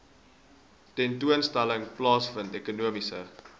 tentoonstelling plaasvind ekonomiese